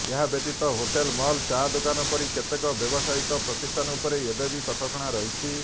ଏହାବ୍ୟତୀତ hotel mall ଚା ଦୋକାନ ପରି କେତେକ ବ୍ୟବସାୟିକ ପ୍ରତିଷ୍ଠାନ ଉପରେ ଏବେବି କଟକଣା ରହିଛି